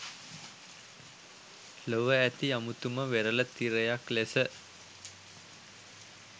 ලොව ඇති අමුතුම වෙරළ තිරයක් ලෙස